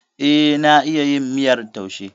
Eh, na iya yin miyar taushe.